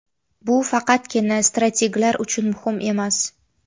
Bu faqatgina strateglar uchun muhim emas.